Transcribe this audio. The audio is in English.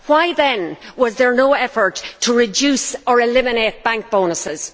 why then was there no effort to reduce or eliminate bank bonuses?